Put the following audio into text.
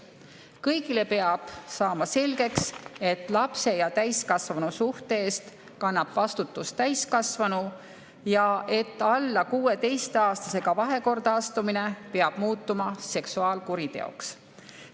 Kõigile peab saama selgeks, et lapse ja täiskasvanu suhte eest kannab vastutust täiskasvanu ja et alla 16‑aastasega vahekorda astumine peab muutuma seksuaalkuriteoks.